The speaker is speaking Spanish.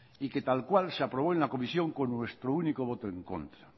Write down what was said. y que tal cual se aprobó en la comisión con nuestro único voto en contra